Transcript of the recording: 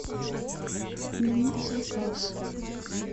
отмени заказ